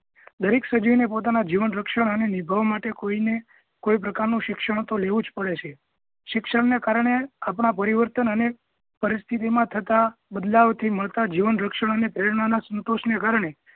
દરેક સજીવ ને પોતાના જીવન રક્ષણ અને નિભાવ માટે કોઈને કોઈ પ્રકાર નુ શિક્ષણ તો લેવું જ પડે છે શિક્ષણ ને કારણે આપણા પરિવર્તન અને પરિસ્થિતિ મા થતાં બદલાવ થી મળતા જીવન રક્ષણ ને પ્રેરણા નાં સંતોષ ને કારણે